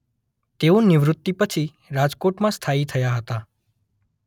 તેઓ નિવૃત્તિ પછી રાજકોટમાં સ્થાયી થયા હતા.